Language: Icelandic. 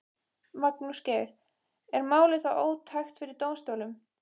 Magnús Geir: Er málið þá ótækt fyrir dómsstólum?